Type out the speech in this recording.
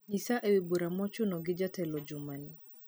nyisa ewi bura mochuno gi jatelo jumani